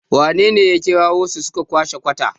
wanene ya kirawo su, su kwashe kwata?